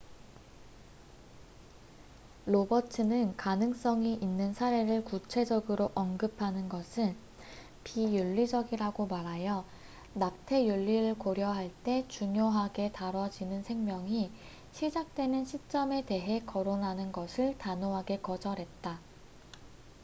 로버츠는 가능성이 있는 사례를 구체적으로 언급하는 것은 비윤리적이라고 말하여 낙태 윤리를 고려할 때 중요하게 다뤄지는 생명이 시작되는 시점에 대헤 거론하는 것을 단호하게 거절했다